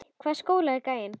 Í hvaða skóla er gæinn?